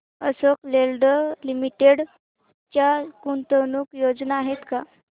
Ashok Leyland limited च्या गुंतवणूक योजना आहेत का